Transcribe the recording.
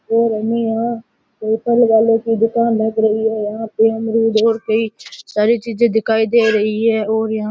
और हमें यहाँ कोई फल वाले की दुकान लग रही है और पेमली बोर भी सारी चीजे दिखाई दे रही है और यहां --